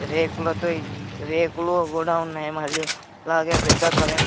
రేకులతో ఇల్ రేకులు కూడా ఉన్నాయి మరియు అలాగే పెద్ద కరెంట్ --